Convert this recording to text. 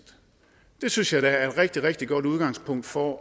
det synes jeg da er et rigtig rigtig godt udgangspunkt for